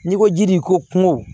N'i ko ji de ko kungo